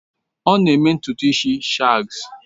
Ọ na-eme ntutu isi shags